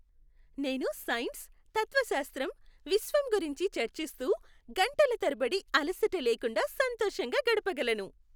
నేను సైన్స్, తత్వశాస్త్రం, విశ్వం గురించి చర్చిస్తూ గంటల తరబడి అలసట లేకుండా సంతోషంగా గడపగలను.